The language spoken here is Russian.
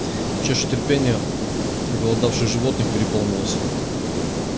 чаша терпения оголодавших животных переполнилась